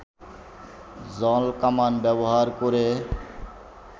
জলকামান ব্যবহার করে